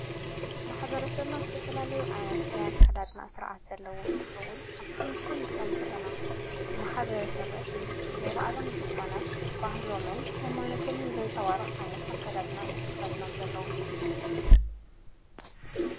ማኅበረ ሰብና ዝተፈላለዩ ኣይነት ናይ ኣካዳድና ሥርዓት ዘለዉን እንተኸውል ኣብትምስሊን ርእዮም ዘለና ማሓበረ ሰበት ነብኣሎም ዝኾነ ባህሎምን ኃይማኖቶምን ዘንጸዋርቕ ኣይነት ኣካዳድና እዮምተኸዲኖም ዘለዉ::